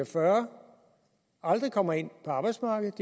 fyrre år aldrig kommer ind på arbejdsmarkedet